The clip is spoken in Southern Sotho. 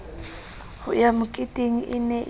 ho ya moketeng e ne